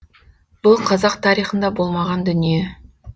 бұл қазақ тарихында болмаған дүние